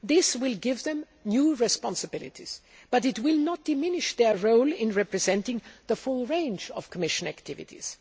This will give them new responsibilities, but it will not diminish their role in representing the full range of Commission activities.